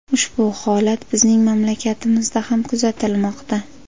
Ushbu holat bizning mamlakatimizda ham kuzatilmoqda.